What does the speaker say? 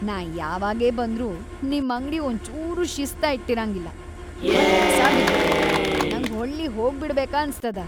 ನಾ ಯಾವಾಗೇ ಬಂದ್ರೂ ನಿಮ್ ಅಂಗ್ಡಿ ಒಂಚೂರೂ ಶಿಸ್ತ ಇಟ್ಟಿರಂಗಿಲ್ಲಾ ಮತ್‌ ಕಸಾ ಬಿದ್ದಿರ್ತದ, ನಂಗ್ ಹೊಳ್ಳಿಹೋಬಿಡ್ಬೇಕ ಅನ್ಸ್‌ತದ.